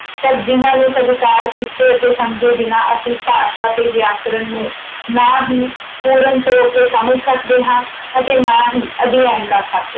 ਪਰ ਜਿੰਨਾ ਨੂੰ ਸਵੀਕਾਰ ਕੀਤੇ ਅਤੇ ਸਮਝੇ ਬਿਨਾਂ ਅਸੀਂ ਭਾਸ਼ਾ ਤੇ ਵਿਆਕਰਣ ਨੂੰ ਨਾ ਹੀ ਪੂਰਨ ਤੌਰ ਤੇ ਸਮਝ ਸਕਦੇ ਹਾਂ ਅਤੇ ਨਾ ਹੀ ਅਧਿਐਨ ਕਰ ਸਕਦੇ ਹਾਂ।